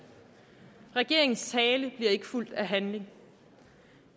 regeringens tale bliver ikke fulgt af handling